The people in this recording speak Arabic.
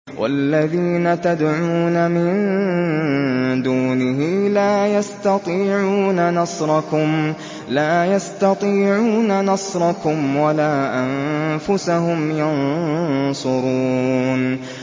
وَالَّذِينَ تَدْعُونَ مِن دُونِهِ لَا يَسْتَطِيعُونَ نَصْرَكُمْ وَلَا أَنفُسَهُمْ يَنصُرُونَ